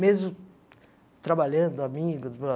Mesmo trabalhando, amigos.